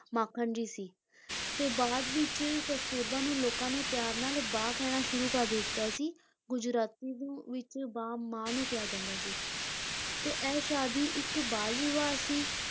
ਮਾਖਣ ਜੀ ਸੀ ਤੇ ਬਾਅਦ ਵਿੱਚ ਕਸਤੂਰਬਾ ਨੂੰ ਲੋਕਾਂ ਨੇ ਪਿਆਰ ਨਾਲ ਬਾ ਕਹਿਣਾ ਸ਼ੁਰੂ ਕਰ ਦਿੱਤਾ ਸੀ, ਗੁਜਰਾਤੀ ਦੇ ਵਿੱਚ ਬਾ ਮਾਂ ਨੂੰ ਕਿਹਾ ਜਾਂਦਾ ਸੀ ਤੇ ਇਹ ਸ਼ਾਦੀ ਇੱਕ ਬਾਲ ਵਿਆਹ ਸੀ